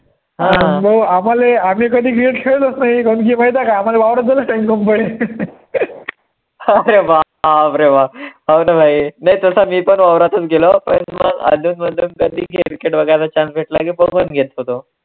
अरे बाप रे बाप, हाव रे भाई, नाही तसा मी पण वावरातून गेलो, पण मग अधून मधून कधी cricket वैगरे chance भेटला की, बघून घेत होतो.